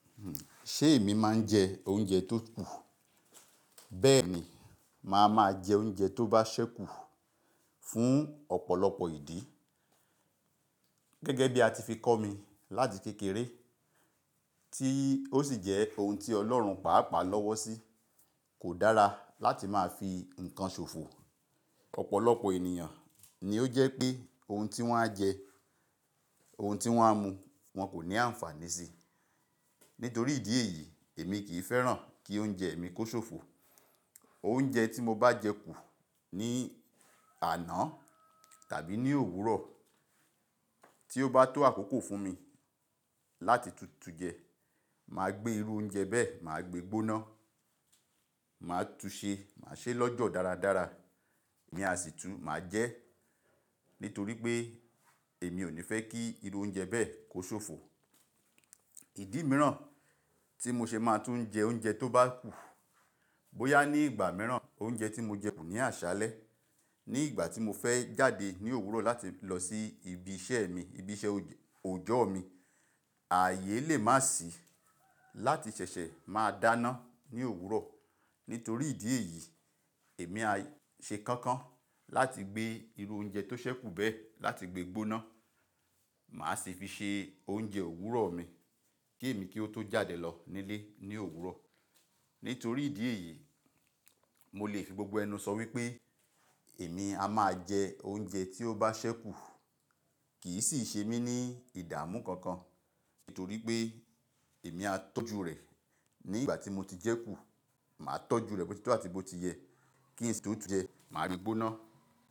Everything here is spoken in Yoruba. Ṣé èmi máa ń jẹ oúnjẹ tó kù? Bẹ́ẹ̀ ni, màá máa jẹ oúnjẹ tó bá ṣẹ́kù fún ọ̀pọ̀lọpọ̀ ìdí. Gẹ́gẹ́ bí a ti fi kọ́ mi láti kékeré tí ó sì jẹ́ ohun tí Ọlọ́run pàápàá lọ́wọ́ sí. Kò dára láti máa fi nǹkan ṣòfò. Ọ̀pọ̀lọpọ̀ ènìyàn ni ó jẹ́ pé ohun tí wọ́n á jẹ, ohun tí wọ́n á mu wọn kò ní àǹfààní sí. Nítorí ìdí èyí, èmi kì í fẹ́ràn kí oúnjẹ mi kó ṣòfò. Oúnjẹ tí mo bá jẹ kù ní àná tàbí ní òwúrọ̀ tí ó bá tó àkókò fún mi láti tutù jẹ, màá gbé irú oúnjẹ bẹ́ẹ̀, màá gbé gbóná, màá túu se, màá ṣe lọ́jọ́ dáradára. Ni àsìtú, màá jẹ́ nítorí pé èmi ò ní fẹ́ kí irú oúnjẹ bẹ́ẹ̀ kó ṣòfò. Ìdí mìíràn tí mo ṣe máa tún jẹ oúnjẹ tó bá kù, bóyá ní ìgbà mìíràn oúnjẹ tí mo jẹ kù ní àṣálẹ́ ní ìgbà tí mo fẹ́ jáde ní òwúrọ̀ láti lọ sí ibi iṣẹ́ mi, ibi iṣẹ́ òòjọ́ mi. Ààyè lè má sì láti ṣẹ̀ṣẹ̀ máa dáná ní òwúrọ̀. Nítorí ìdí èyí, èmi á ṣe kankan láti gbé irú oúnjẹ tó ṣẹ́ kù bẹ́ẹ̀ láti gbé gbóná. Màá sì fi ṣe oúnjẹ òwúrọ̀ mi kí èmi kí ó tó jáde lọ nílé ní òwúrọ̀. Nítorí ìdí èyí, mo lè fi gbogbo ẹnu sọ wípé èmi a máa jẹ oúnjẹ tí ó bá ṣẹ́ kù kì í sì ṣe mí ní ìdààmú kankan. Nítorí pé èmi á tọ́jú rẹ̀ ní ìgbà tí mo ti jẹ́ kù. Màá tọ́jú rẹ̀ bo titọ́ àti bó ti yẹ kín si tó tú jẹ, màá rí gbóná.